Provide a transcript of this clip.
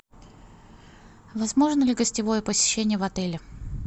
возможно ли гостевое посещение в отеле